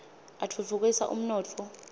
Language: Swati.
atfutfukisa umnotfo